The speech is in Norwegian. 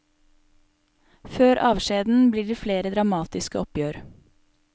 Før avskjeden blir det flere dramatiske oppgjør.